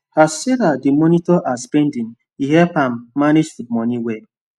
as sarah dey monitor her spending e help am manage food money well